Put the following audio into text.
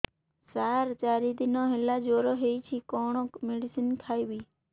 ସାର ଚାରି ଦିନ ହେଲା ଜ୍ଵର ହେଇଚି କଣ ମେଡିସିନ ଖାଇବି